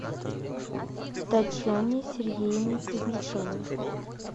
татьяне сергеевне кузнецовой